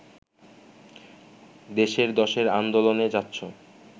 দেশের দশের আন্দোলনে যাচ্ছো